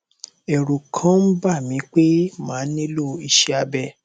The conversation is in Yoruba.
ẹrù kàn ń bà mí pé màá nílò iṣé abẹ